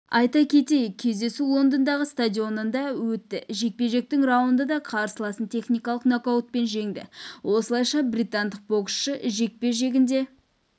айта кетейік кездесу лондондағы стадионында өтті жекпе-жектің раундында қарсыласын техникалық нокаутпен жеңді осылайша британдық боксшы жекпе-жегінде